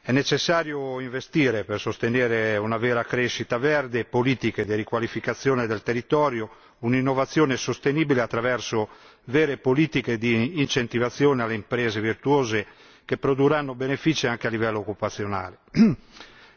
È necessario investire per sostenere una vera crescita verde e politiche di riqualificazione del territorio, un'innovazione sostenibile attraverso vere politiche di incentivazione alle imprese virtuose, che produrranno benefici anche a livello occupazionale.